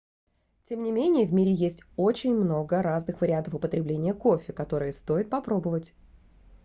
тем не менее в мире есть очень много разных вариантов употребления кофе которые стоит попробовать